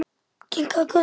Kinkað kolli.